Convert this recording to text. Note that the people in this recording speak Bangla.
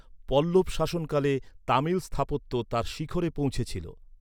পল্লব শাসনকালে তামিল স্থাপত্য তার শিখরে পৌঁছেছিল।